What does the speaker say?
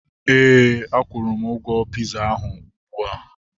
Éè, a kwuru m ụgwọ piza ahu ụgbụa